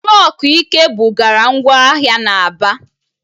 Trọkú Ike bu gara ngwa ahia n'Aba.